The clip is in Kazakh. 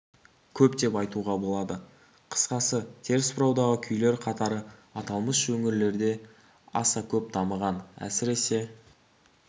көп деп айтуға болады қысқасы теріс бұраудағы күйлер қатары аталмыш өңірлерде аса көп дамыған әсіресе